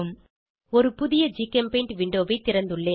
ஒரு புதிய ஜிகெம்பெய்ண்ட் விண்டோவை திறந்துள்ளேன்